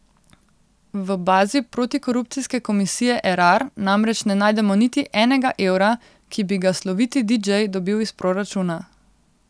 V bazi protikorupcijske komisije Erar namreč ne najdemo niti enega evra, ki bi ga sloviti didžej dobil iz proračuna.